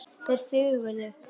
Þeir þögðu.